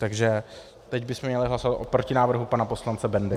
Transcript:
Takže teď bychom měli hlasovat o protinávrhu pana poslance Bendy.